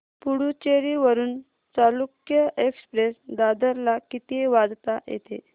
पुडूचेरी वरून चालुक्य एक्सप्रेस दादर ला किती वाजता येते